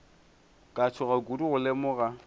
ka tšhoga kudu go lemoga